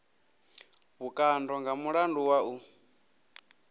vhukando nga mulandu wa u